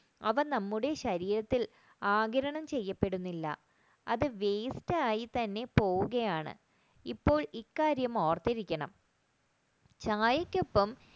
അവ നമ്മുടെ ശരീരത്തിൽ ആകിരണം ചെയ്യപ്പെടുന്നില്ല അത് വേസ്റ്റ് ആയിട്ട് തന്നെ പോകുകയാണ് ഇപ്പോൾ ഈ കാര്യം ഓർത്തിരിക്കണം ചായക്കൊപ്പം